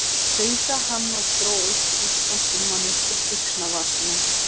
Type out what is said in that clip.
tautaði hann og dró upplýstan símann upp úr buxnavasanum.